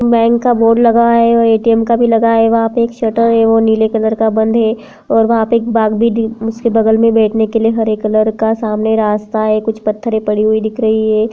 Bank का board लगा है और ऐ.टी.एम. का भी लगा है वहाँ पे एक शटर है वो नीले कलर का बंध है और वहां पे एक बाग़ भी दिक् उसके बगल में बैठने के लिए हरे कलर का सामने रास्ता है कुछ पत्थरें पड़ी हुई दिख रही हैं।